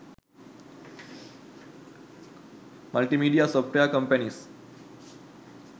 multimedia software companies